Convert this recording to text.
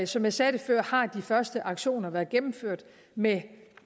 som jeg sagde før har de første aktioner været gennemført med en